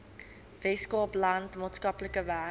weskaapland maatskaplike werk